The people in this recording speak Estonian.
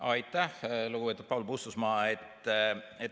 Aitäh, lugupeetud Paul Puustusmaa!